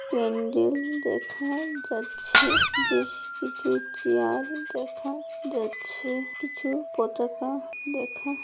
প্যান্ডেল দেখা যাচ্ছে বেশ কিছু চেয়ার দেখা যাচ্ছে কিছু পতাকা দেখা--